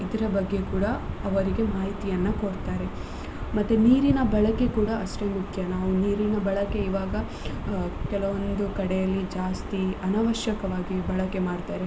ಇದ್ರ ಬಗ್ಗೆ ಕೂಡ ಅವರಿಗೆ ಮಾಹಿತಿಯನ್ನ ಕೊಡ್ತಾರೆ, ಮತ್ತೆ ನೀರಿನ ಬಳಕೆ ಕೂಡ ಅಷ್ಟೆ ಮುಖ್ಯ ನಾವು ನೀರಿನ ಬಳಕೆ ಇವಾಗ ಕೆಲವೊಂದು ಕಡೆ ಅಲ್ಲಿ ಜಾಸ್ತಿ ಅನವಶ್ಯಕವಾಗಿ ಬಳಕೆ ಮಾಡ್ತಾರೆ.